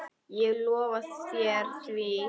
Ég lofa þér því.